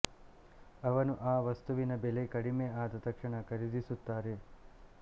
ಅವನು ಅ ವಸ್ತುವಿನ್ನ ಬೆಲೆ ಕಡಿಮೆ ಅದ ತಕ್ಷಣ ಕರಿದಿಸುತ್ತಾರೆ